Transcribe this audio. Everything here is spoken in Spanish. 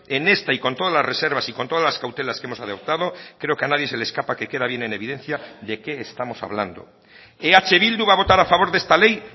en esta y con todas las reservas y con todas las cautelas que hemos adoptado creo que a nadie se le escapa que queda bien en evidencia de qué estamos hablando eh bildu va a votar a favor de esta ley